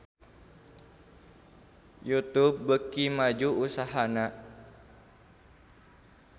Youtube beuki maju usahana